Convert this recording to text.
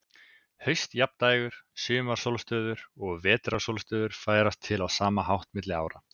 Haustjafndægur, sumarsólstöður og vetrarsólstöður færast til á sama hátt milli ára.